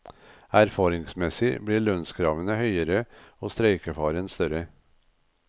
Erfaringsmessig blir lønnskravene høyere og streikefaren større.